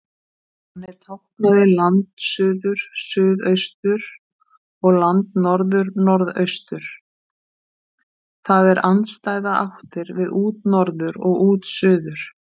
Þannig táknaði landsuður suðaustur, og landnorður, norðaustur, það er andstæðar áttir við útnorður og útsuður.